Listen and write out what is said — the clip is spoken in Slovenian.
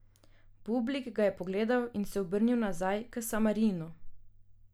Bublik ga je pogledal in se obrnil nazaj k Samarinu.